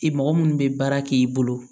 I mɔgɔ minnu bɛ baara k'i bolo